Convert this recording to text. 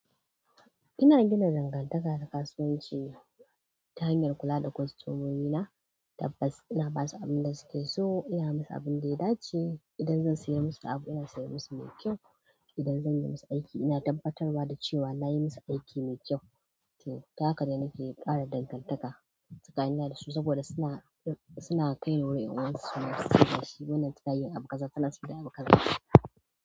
Ina gina dangantaka da kasuwanci ta hanyar kula da kostomomi na da basu, ina basu abin da suke so, ina musu abin da ya dace. Idan zan saya musu abu ina saya musu mai kyau. Idan zan yi musu aiki ina tabbatarwa da cewa na yi musu aiki mai kyau. Ta haka ne nake ƙara dangantaka tsakanina da su saboda suna kai wa ƴan uwansu suna cewa wannan tana yin abu kaza, tana sai da abu kaza.